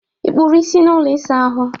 ị kpụrụ isi n'ụlọ ịsa ahụ?